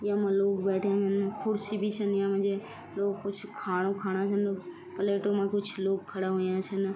यखमा बैठ्याँ लोग कुर्सी भी छन यामा जे लोग कुछ खाणु खाणा छन प्लेटू मा कुछ लोग खड़ा हुयां छन।